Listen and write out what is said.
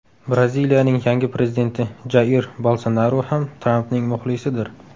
Braziliyaning yangi prezidenti Jair Bolsonaru ham Trampning muxlisidir.